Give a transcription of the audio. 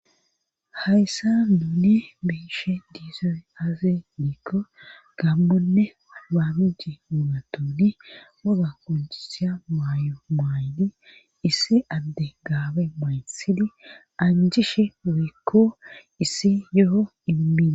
hayssa nuuni be'ishe dizay aaze giko gambonne baamiji mugatuuni muga konchisya mayo mayni issi adde gaabe maysidi anjishe weekko issi yoho immidi